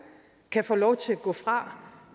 kan få lov til at gå fra